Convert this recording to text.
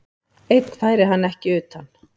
Einn færi hann ekki utan.